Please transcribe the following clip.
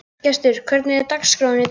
Gestur, hvernig er dagskráin í dag?